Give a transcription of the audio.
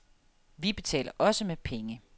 Vi betaler også med penge.